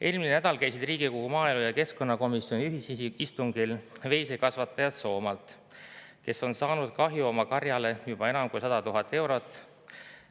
Eelmisel nädalal käisid Riigikogu maaelu‑ ja keskkonnakomisjoni ühisistungil veisekasvatajad Soomaalt, kes on saanud kahju oma karjale juba enam kui 100 000 eurot.